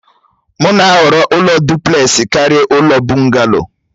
M na-ahọrọ ụlọ dụplesi karịa ụlọ Bugaloo